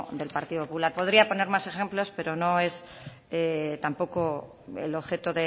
del partido popular podría poner más ejemplos pero no es tampoco el objeto